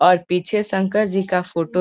और पीछे शंकर जी का फोटो --